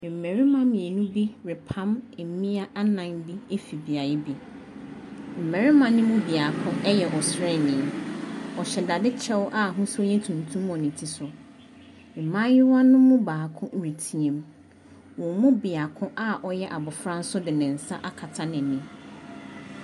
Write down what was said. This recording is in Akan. Mmarima mmienu repam mmea anan bi afi beae bi. Mmarima ne mu biako yɛ ɔsraani, ɔhyɛ dadekyɛw a ahosuo no yɛ tuntum wɔ ne ti so. Mmea ne mu baako retea mu, wɔn biako a ɔyɛ abɔfra nso de nsa akata n’anim.